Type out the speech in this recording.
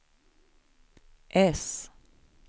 S